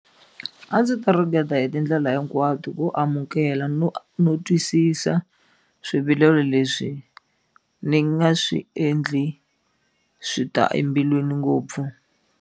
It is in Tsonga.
A ndzi ta ringeta hi tindlela hinkwato ku amukela no no twisisa swivilelo leswi ni nga swi endli swi ta embilwini ngopfu.